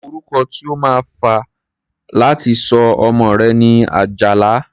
Orúkọ tí o máa fé láti sọ ọmọ rẹ̀ ni Àjàlá.